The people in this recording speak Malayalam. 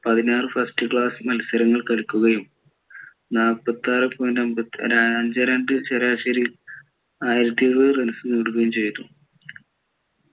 പതിനാറ് first class മത്സരങ്ങൾ കളിക്കുകയും നാല്പത്തിയാറെ point അഞ്ചേ രണ്ടേ ശരാശരിയിൽ ആയിരത്തി എഴുപത് runs നേടുകയും ചെയ്തു